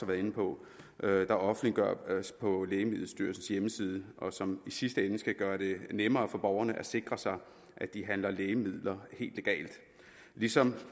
været inde på der offentliggøres på lægemiddelstyrelsens hjemmeside og som i sidste ende skal gøre det nemmere for borgerne at sikre sig at de handler lægemidler helt legalt ligesom